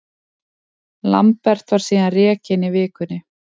Lambert var síðan rekinn í vikunni.